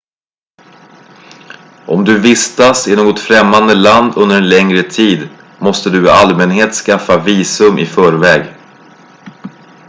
om du vistas i något främmande land under en längre tid måste du i allmänhet skaffa visum i förväg